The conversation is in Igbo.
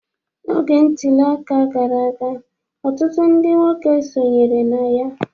N'oge ntuli aka gara aga, ọtụtụ ndị nwoke sonyere na ya.